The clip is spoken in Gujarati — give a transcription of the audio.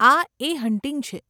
આ 'એ હન્ટિંગ' છે.